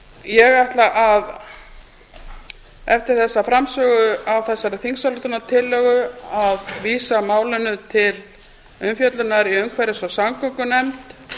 ég ætla eftir þessa framsögu á þessari þingsályktunartillögu að vísa málinu til umfjöllunar í umhverfis og samgöngunefnd